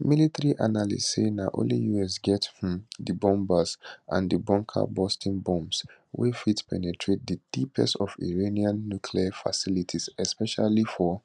military analysts say na only us get um di bombers and bunkerbusting bombs wey fit penetrate di deepest of iranian nuclear facilities especially for